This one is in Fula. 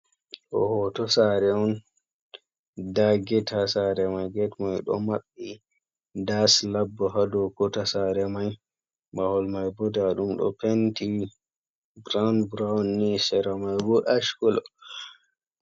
Ɗo hoto sare on nda ged ha sare mai ged mai ɗo maɓɓi nda slap ɗo dou kota sare mai, mahol mai bo nda ɗum ɗo penti grand brown ni sera mai bo ash kolo.